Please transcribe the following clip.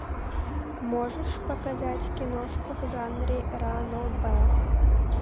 можешь показать киношку в жанре ранобэ